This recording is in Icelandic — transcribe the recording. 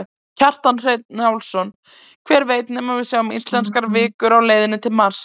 Kjartan Hreinn Njálsson: Hver veit nema að við sjáum íslenskan vikur á leiðinni til Mars?